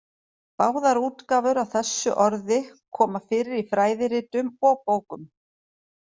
Báðar útgáfur af þessu orði koma fyrir í fræðiritum og bókum.